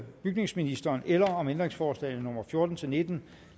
bygningsministeren eller om ændringsforslagene nummer fjorten til nitten